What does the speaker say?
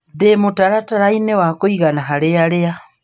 Ndĩ mũtaratara-inĩ wa kaigana harĩ aria.